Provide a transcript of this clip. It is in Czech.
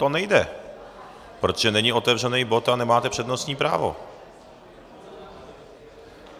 To nejde, protože není otevřený bod a nemáte přednostní právo.